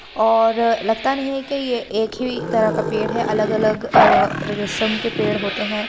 और लगता नहीं है कि यह एक ही तरह का पेड़ है अलग-अलग र रसम के पेड़ होते हैं।